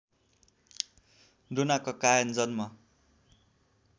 डोना कक्कायन जन्म